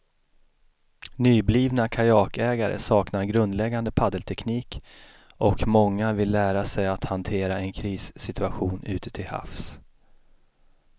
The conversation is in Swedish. Nyblivna kajakägare saknar grundläggande paddelteknik och många vill lära sig att hantera en krissituation ute till havs.